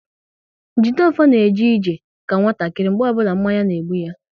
Jideofor na eje ije ka nwatakịrị mgbe ọbụla mmanya na-egbu ya